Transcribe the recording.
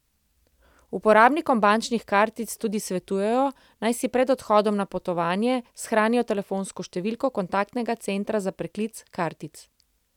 Uporabnikom bančnih kartic tudi svetujejo, naj si pred odhodom na potovanjem shranijo telefonsko številko kontaktnega centra za preklic kartic.